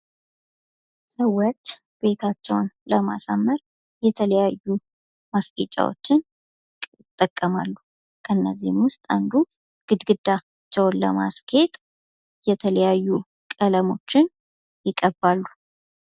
ማስጌጥ አንድን ቦታ ወይም ነገር ውበትና ማራኪነት እንዲኖረው ለማድረግ የሚደረግ ጥረት ነው።